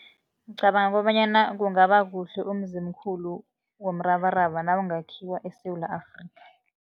Ngicabanga kobanyana kungaba kuhle umzimkhulu womrabaraba nawungakhiwa eSewula Afrika.